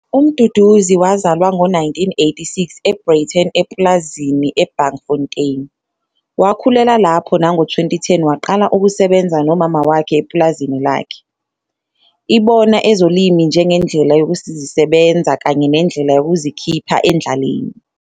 UMduduzi wazalwa ngo-1986 eBreyten epulazini eBankfontein. Wakhulela lapho nango-2010 waqala ukusebenza nomama wakhe epulazini lakhe. Ibona ezolimo njengendlela yokuzisebenza kanye nendlela yokuzikhipha endlaleni.